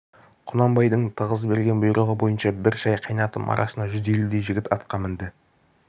құнанбайдың тығыз берген бұйрығы бойынша бір шай қайнатым арасында жүз елудей жігіт атқа мінді